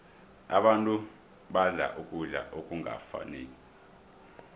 abantu badla ukudla okungafaniko